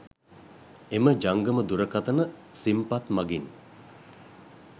එම ජංගම දුරකථන සිම්පත් මගින්